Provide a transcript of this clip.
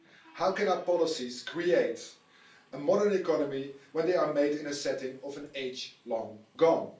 How can our policies create a modern economy when they are made in a setting of an age long gone?